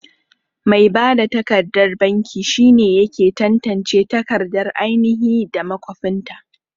Mai bada takardar banki shine yake tantance takardar ainahi da makwafinta.